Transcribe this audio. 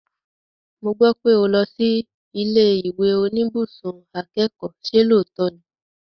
Mo gbọ́ pé o lọ sí ilé ìwé oníbùsùn akẹ́kọ̀ọ́, ṣe lóòótọ́ ni?